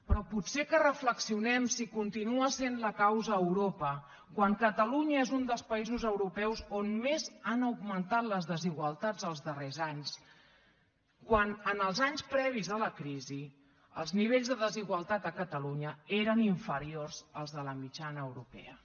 però potser que reflexionem si continua sent la causa europa quan catalunya és un dels països europeus on més han augmentat les desigualtats els darrers anys quan en els anys previs a la crisi els nivells de desigualtat a catalunya eren inferiors als de la mitjana europea